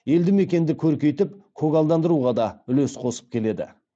елді мекенді көркейтіп көгалдандыруға да үлес қосып келеді